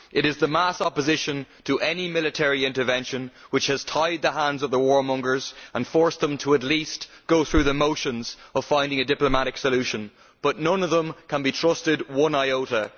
It is the mass opposition to any military intervention which has tied the hands of the warmongers and forced them to at least go through the motions of finding a diplomatic solution, but none of them can be trusted one iota.